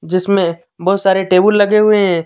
जिसमें बहुत सारे टेबल लगे हुए हैं।